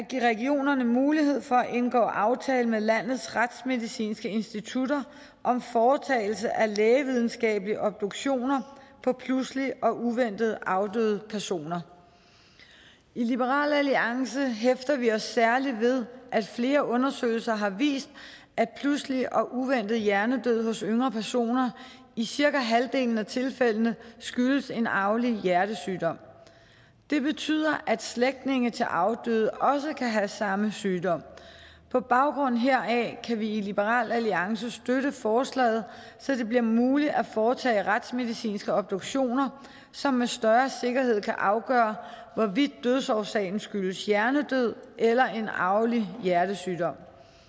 give regionerne mulighed for at indgå aftale med landets retsmedicinske institutter om foretagelse af lægevidenskabelige obduktioner på pludseligt og uventet afdøde personer i liberal alliance hæfter vi os særlig ved at flere undersøgelser har vist at pludselig og uventet hjernedød hos yngre personer i cirka halvdelen af tilfældene skyldes en arvelig hjertesygdom det betyder at slægtninge til afdøde også kan have samme sygdom på baggrund heraf kan vi i liberal alliance støtte forslaget så det bliver muligt at foretage retsmedicinske obduktioner som med større sikkerhed kan afgøre hvorvidt dødsårsagen skyldes hjernedød eller en arvelig hjertesygdom